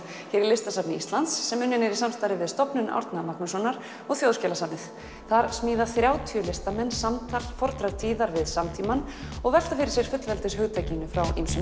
hér í Listasafni Íslands sem unnin er í samstarfi við Stofnun Árna Magnússonar Þjóðskjalasafnið þar smíða þrjátíu listamenn samtal fornra tíðar við samtímann og velta fyrir sér fullveldishugtakinu frá ýmsum